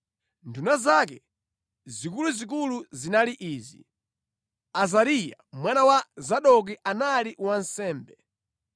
Nduna zake zikuluzikulu zinali izi: Azariya mwana wa Zadoki anali wansembe;